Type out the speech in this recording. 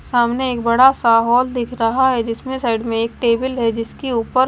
सामने एक बड़ा सा हॉल दिख रहा है जिसमें साइड में टेबल है जिसके ऊपर--